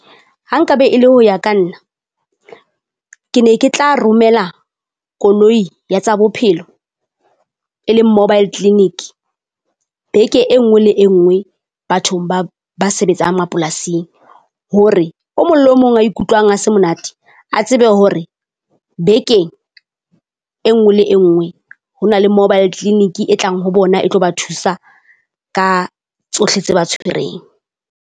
Ha nkabe e le ho ya ka nna, ke ne ke tla romela koloi ya tsa bophelo e leng Mobile Clinic beke e nngwe le e nngwe bathong ba ba sebetsang mapolasing. Hore o mong le o mong a ikutlwang a se monate, a tsebe hore bekeng e nngwe le e nngwe ho na le Mobile Clinic e tlang ho bona e tlo ba thusa ka tsohle tse ba tshwereng.